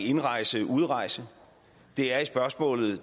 indrejse og udrejse og det er i spørgsmålet